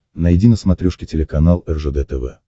найди на смотрешке телеканал ржд тв